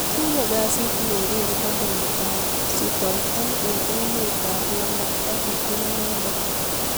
kinyo kazi Mary eng kampunit ab sutoito eng eme ab London ak kitun inendet